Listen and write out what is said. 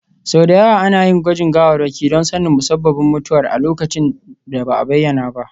Sau da yawa ana yin gwajin gawarwaki don sanin musabbabin mutuwar a lokacin da ba a bayyana ba.